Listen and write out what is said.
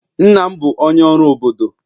nna m bu onye oru obodo